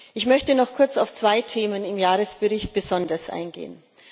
Ich möchte noch kurz auf zwei Themen im Jahresbericht besonders eingehen.